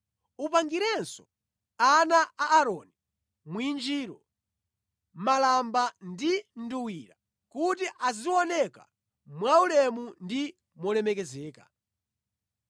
Upangirenso ana a Aaroni mwinjiro, malamba ndi nduwira kuti azioneka mwaulemu ndi molemekezeka.